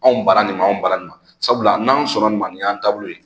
Anw ban na nin ma, anw ban na nin ma, sabula n'an sɔn na nin ma, nin y'an taabolo ye.